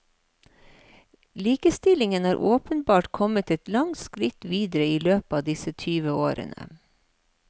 Likestillingen er åpenbart kommet et langt skritt videre i løpet av disse tyve årene.